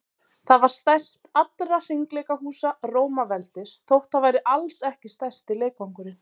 það var stærst allra hringleikahúsa rómaveldis þótt það væri alls ekki stærsti leikvangurinn